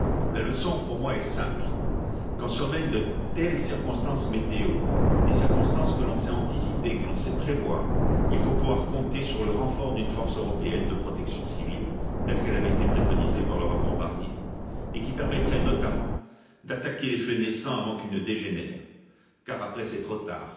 La leçon, pour moi, est simple quand surviennent de telles circonstances météo, des circonstances que l'on sait anticiper, que l'on sait prévoir, il faut pouvoir compter sur le renfort d'une force européenne de protection civile, telle qu'elle avait été préconisée par le rapport Barnier, et qui permettrait notamment d'attaquer les feux naissants avant qu'ils ne dégénèrent, car après c'est trop tard.